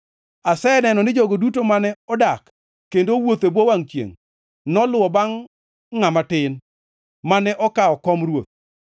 Aseneno ni jogo duto mane odak kendo owuotho e bwo wangʼ chiengʼ noluwo bangʼ ngʼama tin, mane okawo kom ruoth.